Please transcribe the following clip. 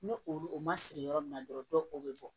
Ni o ma siri yɔrɔ min na dɔrɔn o bɛ bɔ